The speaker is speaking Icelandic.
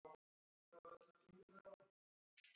En um hvað snýst málið?